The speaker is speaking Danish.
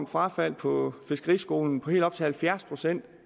frafald på fiskeriskolen på helt op til halvfjerds procent